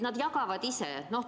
Nad jagavad maske ise.